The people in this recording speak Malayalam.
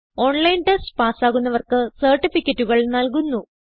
ഓൺലൈൻ ടെസ്റ്റ് പാസ്സാകുന്നവർക്ക് സർട്ടിഫികറ്റുകൾ നല്കുന്നു